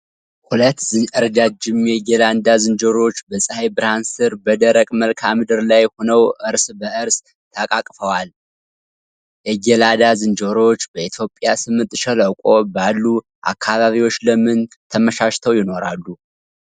ሁለት ረጃጅም የጌላዳ ዝንጀሮዎች በፀሐይ ብርሃን ስር በደረቅ መልክዓ ምድር ላይ ሆነው እርስ በእርስ ተቃቅፈዋል። የጌላዳ ዝንጀሮዎች በኢትዮጵያ ስምጥ ሸለቆ ባሉ አካባቢዎች ለምን ተመቻችተው ይኖራሉ?